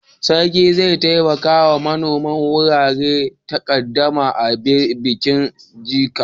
Sarki zai taimaka wa manoman warware takaddama a bikin Jaci.